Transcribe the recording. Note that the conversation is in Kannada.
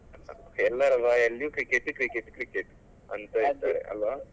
ಎಲ್ಲರ ಬಾಯಲ್ಲೂ cricket, cricket, cricket ಅಂತ ಹೇಳ್ತಾರೆ ಅಲ್ವ